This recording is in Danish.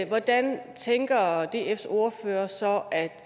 hvordan tænker dfs ordfører så at